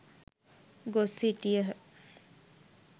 ගොස් සිටියහ.